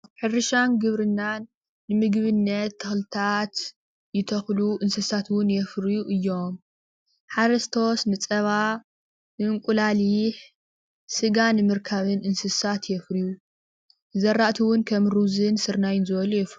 ሕርሻን ግብርናን ንምግብነት ተክልታት ይተክሉ ፣ እንስሳት እውን የፍርዩ እዮም ።ሓረስቶት ንፀባ እንቁላሊሕ ስጋ ንምርካብ እንስሳት የፍርዩ እዮም፤ ዝራእቲ እውን ከም ሩዙን ስርናይ ዝበሉ የፍርዩ።